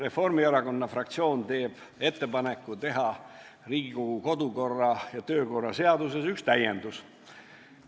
Reformierakonna fraktsioon teeb ettepaneku teha Riigikogu kodu- ja töökorra seaduses üks täiendus.